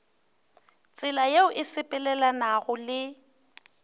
tsela yeo e sepelelanago le